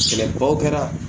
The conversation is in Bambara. Sɛnɛbaw kɛra